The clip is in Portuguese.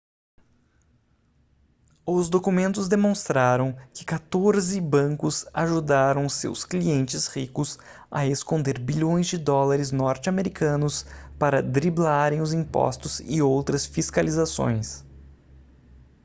os documentos demonstraram que quatorze bancos ajudaram seus clientes ricos a esconder bilhões de dólares norte-americanos para driblarem os impostos e outras fiscalizações